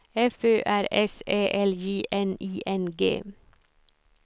F Ö R S Ä L J N I N G